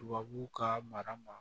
Tubabuw ka mara ma